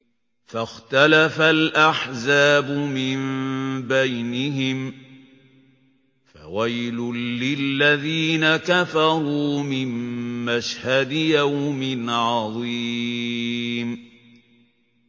فَاخْتَلَفَ الْأَحْزَابُ مِن بَيْنِهِمْ ۖ فَوَيْلٌ لِّلَّذِينَ كَفَرُوا مِن مَّشْهَدِ يَوْمٍ عَظِيمٍ